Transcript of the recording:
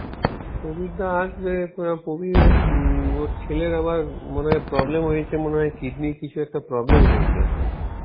প্রবীরদা আসবে প~ প্রবীররের উম ওর ছেলের আবার মনে হয় problem হয়েছে মনেহয় কিডনীর কিছুএকটা problem হয়েছে.